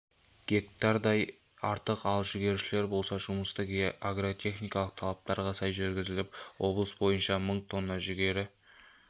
гектардай артық ал жүгерішілер болса жұмысты агротехникалық талаптарға сай жүргізіп облыс бойынша мың тонна жүгері